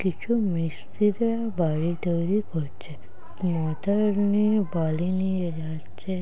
কিছু মিস্ত্রিরা বাড়ি তৈরি করছে। মাথার নিয়ে বালি নিয়ে যাচ্ছে।